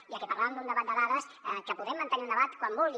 ja que parlàvem d’un debat de dades que en podem mantenir un debat quan vulguin